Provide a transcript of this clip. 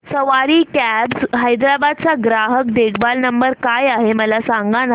सवारी cabs Hyderabad चा ग्राहक देखभाल नंबर काय आहे मला सांगाना